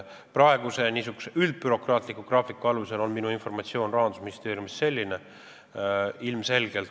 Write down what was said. Praeguse n-ö üldbürokraatliku graafiku alusel on minu informatsioon Rahandusministeeriumist selline.